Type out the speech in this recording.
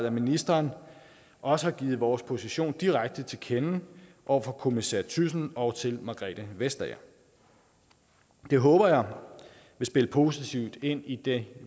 at ministeren også har givet vores position direkte til kende over for kommissær thyssen og margrethe vestager det håber jeg vil spille positivt ind i det